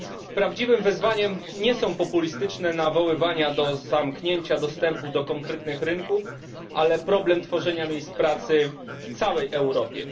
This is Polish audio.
Prawdziwym wyzwaniem nie są populistyczne nawoływania do zamknięcia dostępu do konkretnych rynków, ale problem tworzenia miejsc pracy w całej Europie.